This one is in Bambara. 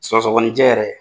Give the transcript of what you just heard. Sɔgsɔɔgɔninjɛ yɛrɛ